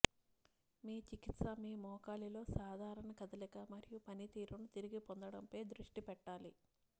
మీ చికిత్స మీ మోకాలిలో సాధారణ కదలిక మరియు పనితీరును తిరిగి పొందడం పై దృష్టి పెట్టాలి